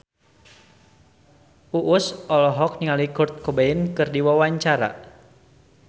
Uus olohok ningali Kurt Cobain keur diwawancara